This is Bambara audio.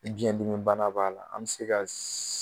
Biɲɛ dimi bana b'a la. An be se ka